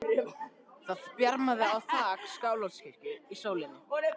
Það bjarmaði á þak Skálholtskirkju í sólinni.